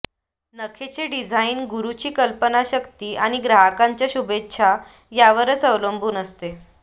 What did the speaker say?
नखेचे design गुरुची कल्पनाशक्ती आणि ग्राहकांच्या शुभेच्छा यावर अवलंबून असते